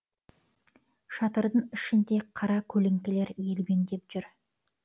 шатырдың ішінде қара көлеңкелер елбеңдеп жүр